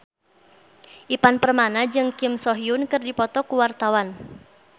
Ivan Permana jeung Kim So Hyun keur dipoto ku wartawan